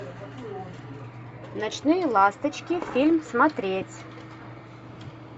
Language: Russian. ночные ласточки фильм смотреть